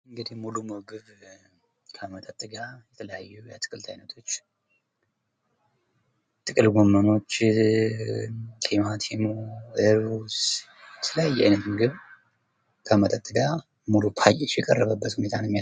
ሙሉ ምግብ እንግዲህ ከመጠጥ ጋር የተለያዩ የአትክልት አይነቶች ጥቅል ጎመን፣ ቲማቲም፣ እሩዝ የተለያየ አይነት ምግብ ከመጠጥ ጋር ሙሉ ፓኬጅ የቀረበትን ሁኔታ ነው የሚያሳይ።